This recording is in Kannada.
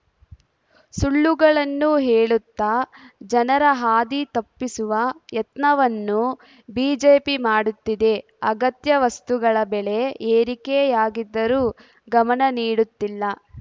ಸುಳ್ಳುಗಳನ್ನು ಹೇಳುತ್ತಾ ಜನರ ಹಾದಿ ತಪ್ಪಿಸುವ ಯತ್ನವನ್ನು ಬಿಜೆಪಿ ಮಾಡುತ್ತಿದೆ ಅಗತ್ಯ ವಸ್ತುಗಳ ಬೆಲೆ ಏರಿಕೆಯಾಗಿದ್ದರೂ ಗಮನ ನೀಡುತ್ತಿಲ್ಲ